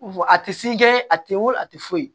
A tɛ se kɛ a tɛ weele a tɛ foyi